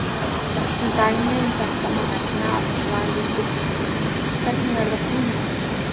Sem dæmi um þetta má nefna að með svari við spurningunni Hvernig verða frumeindir til?